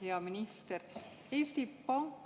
Hea minister!